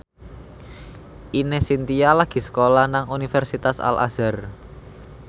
Ine Shintya lagi sekolah nang Universitas Al Azhar